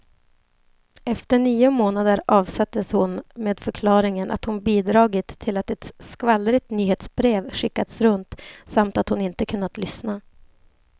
Efter nio månader avsattes hon med förklaringen att hon bidragit till att ett skvallrigt nyhetsbrev skickats runt, samt att hon inte kunnat lyssna.